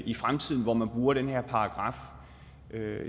i fremtiden hvor man bruger den her paragraf